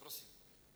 Prosím.